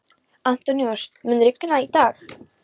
Antóníus, mun rigna í dag?